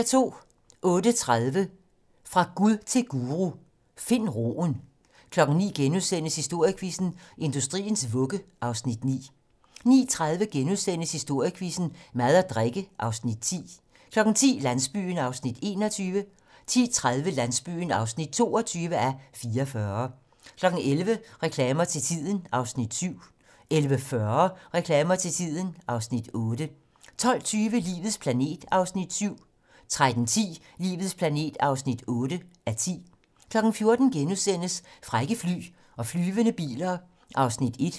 08:30: Fra Gud til guru: Find roen 09:00: Historiequizzen: Industriens vugge (Afs. 9)* 09:30: Historiequizzen: Mad og drikke (Afs. 10)* 10:00: Landsbyen (21:44) 10:30: Landsbyen (22:44) 11:00: Reklamer til tiden (Afs. 7) 11:40: Reklamer til tiden (Afs. 8) 12:20: Livets planet (7:10) 13:10: Livets planet (8:10) 14:00: Frække fly og flyvende biler (1:4)*